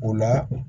O la